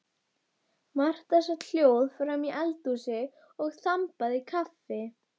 Marta sat hljóð framí eldhúsi og þambaði kaffi.